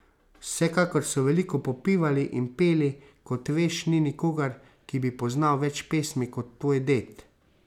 Vsekakor so veliko popivali in peli, kot veš, ni nikogar, ki bi poznal več pesmi kot tvoj ded.